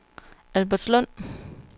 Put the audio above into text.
Albertslund